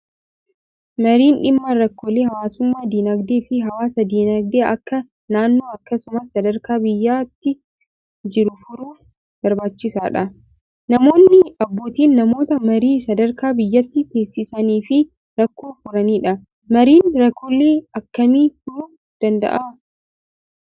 Mariin dhimma rakkoolee hawaasummaa, dinagdee fi hawaas-dinagdee Akka naannoo akkasumas sadarkaa biyyaatti jiru furuuf barbaachisaadha. Namoonni abbootiin namoota marii sadarkaa biyyaatti taasisanii fi rakkoo furanidha. Mariin rakkoolee akkami furuuf danda'a?